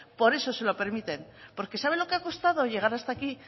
por eso se lo permiten por qué sabe lo que ha costado llegar hasta aquí